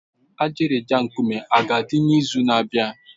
Ajịrịja nkume a ga-adị n'izu na-abịa?